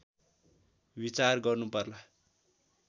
विचार गर्नुपर्ला